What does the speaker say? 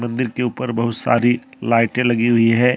मंदिर के ऊपर बहुत सारी लाइटें लगी हुई है।